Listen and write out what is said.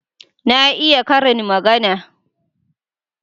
Na iya karin magana.